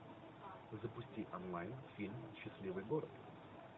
запусти онлайн фильм счастливый город